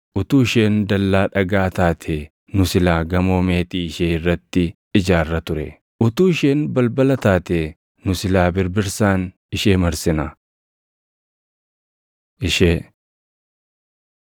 Utuu isheen dallaa dhagaa taatee nu silaa gamoo meetii ishee irratti ijaarra ture. Utuu isheen balbala taatee nu silaa birbirsaan ishee marsina. Ishee